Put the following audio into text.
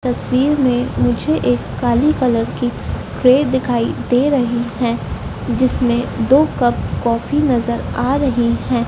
तस्वीर में मुझे एक काली कलर की प्लेट दिखाई दे रही है जिसमें दो कप कॉफी नजर आ रही है।